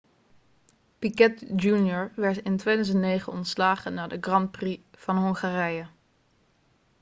piquet jr werd in 2009 ontslagen na de grand prix van hongarije